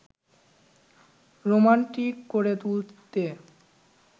romantic করে তুলতে